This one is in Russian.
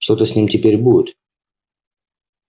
что-то с ним теперь будет